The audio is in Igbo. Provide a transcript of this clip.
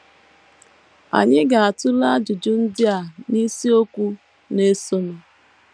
Anyị ga - atụle ajụjụ ndị a n’isiokwu na - esonụ.